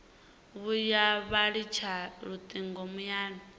vhuya vha litsha lutingo muyani